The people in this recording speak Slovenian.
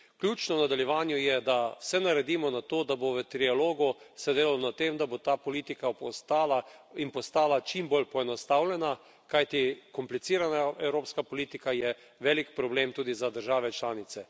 Ključno v nadaljevanju je, da vse naredimo za to, da se bo v trialogu delalo na tem, da bo ta politika postala čim bolj poenostavljena, kajti komplicirana evropska politika je velik problem tudi za države članice.